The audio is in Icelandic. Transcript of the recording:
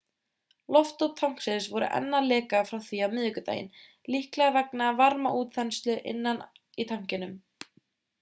loftop tanksins voru enn að leka frá því á miðvikudaginn líklega vegna varmaútþenslu innan í tankinum